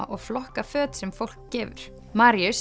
og flokka föt sem fólk gefur